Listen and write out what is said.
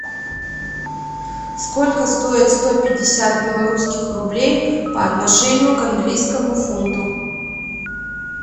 сколько стоит сто пятьдесят белорусских рублей по отношению к английскому фунту